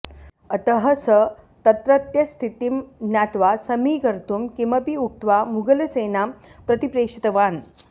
अतः स तत्रत्यस्थितिं ज्ञात्वा समीकर्तुं किमपि उक्त्वा मुघलसेनां प्रतिप्रेषितवान्